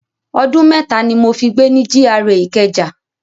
Ọdún mẹ́ta ni mo fi gbé ni GRA Ìkẹjà.